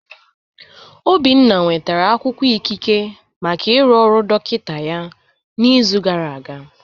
Obinna nwetara akwụkwọ ikike maka ịrụ ọrụ dọkịta ya n'izu gara aga.